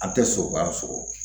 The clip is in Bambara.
An tɛ sogo bagan sogo